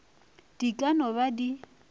di ka no ba di